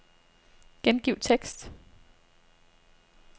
Gengiv tekst.